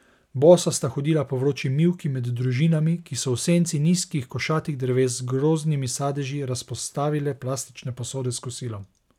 Bosa sta hodila po vroči mivki med družinami, ki so v senci nizkih košatih dreves z grozdnimi sadeži razpostavile plastične posode s kosilom.